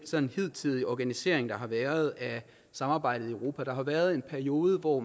hidtidige organisering der har været af samarbejdet i europa der har været en periode hvor